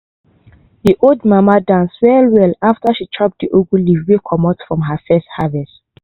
de old mama dance well well after she chop de ugu leaf wey comot from her first harvest.